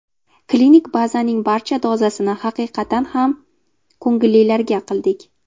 Klinik bazaning barcha dozasini haqiqatan ham ko‘ngillilarga qildik.